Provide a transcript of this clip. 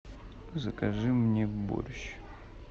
закажи мне борщ